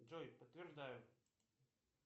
джой подтверждаю